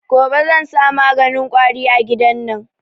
Gobe zan sa maganin kwari a gidan nan